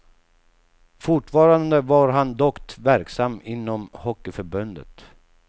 Fortfarande var han dock verksam inom hockeyförbundet.